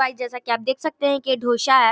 Guys जैसा कि आप दे सकते है यह ढोसा है।